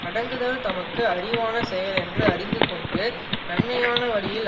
அடங்குதல் தமக்கு அறிவான செயல் என்று அறிந்து கொண்டு நன்மையான வழியில்